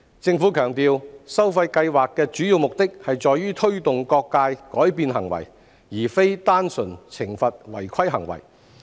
政府強調，收費計劃的主要目的在於推動各界改變行為，而非單純懲罰違規行為。